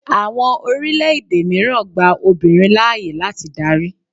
Àwọn orílẹ̀-èdè mìíràn gba obìnrin láàyè láti darí.